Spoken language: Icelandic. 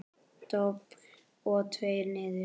Dobl og tveir niður.